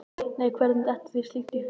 Nei, hvernig dettur þér slíkt í hug?